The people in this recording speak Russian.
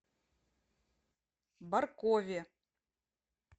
баркове